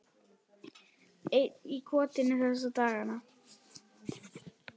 Einn í kotinu þessa dagana.